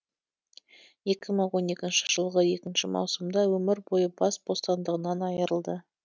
екі мың он екінші жылғы екінші маусымда өмір бойы бас бостандығынан айырылды